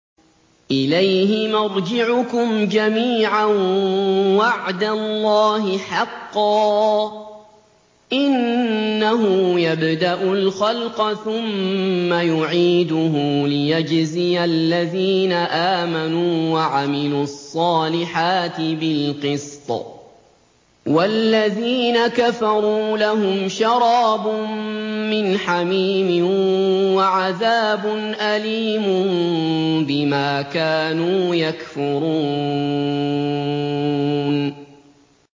إِلَيْهِ مَرْجِعُكُمْ جَمِيعًا ۖ وَعْدَ اللَّهِ حَقًّا ۚ إِنَّهُ يَبْدَأُ الْخَلْقَ ثُمَّ يُعِيدُهُ لِيَجْزِيَ الَّذِينَ آمَنُوا وَعَمِلُوا الصَّالِحَاتِ بِالْقِسْطِ ۚ وَالَّذِينَ كَفَرُوا لَهُمْ شَرَابٌ مِّنْ حَمِيمٍ وَعَذَابٌ أَلِيمٌ بِمَا كَانُوا يَكْفُرُونَ